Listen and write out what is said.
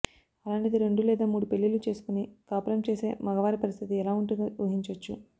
అలాంటిది రెండు లేదా మూడు పెళ్లిళ్లు చేసుకుని కాపురం చేసే మగవారి పరిస్థితి ఎలా ఉంటుందో ఊహించొచ్చు